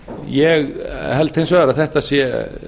ég held hins vegar að þetta sé